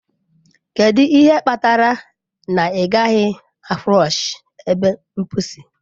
Kedu ihe kpatara na ị gaghị a flọshị ebe mposi?